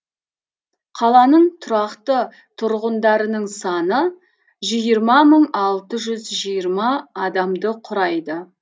қаланың тұрақты тұрғындарының саны жүз жиырма мың алты жүз жиырма адамды құрайды